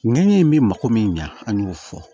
Ŋɛɲɛ in bɛ mako min ɲa an y'o fɔ